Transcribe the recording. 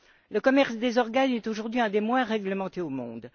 Le commerce des organes est, aujourd'hui, un des moins réglementés au monde.